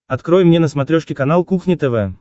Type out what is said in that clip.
открой мне на смотрешке канал кухня тв